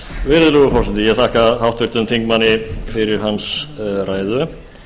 virðulegur forseti ég þakka háttvirtum þingmanni fyrir hans ræðu